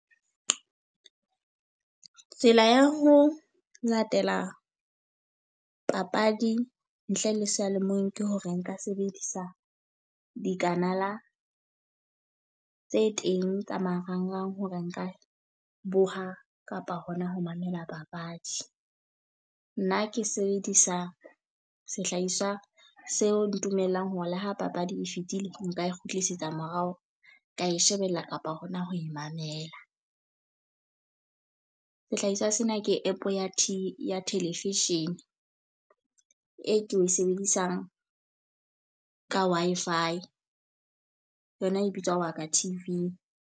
Tsela ya ho latela papadi ntle le seyalemoyeng ke hore nka sebedisa dikanala tse teng tsa marangrang hore nka boha kapa hona ho mamela papadi. Nna ke sebedisa sehlahiswa seo ntumellang hore la ho papadi e fetile nka e kgutlisetsa morao, ke a e shebella kapa hona ho e mamela. Sehlahiswa sena ke app ya tee ya television, e ke e sebedisang ka Wi-Fi yona e bitswa Waka T_V.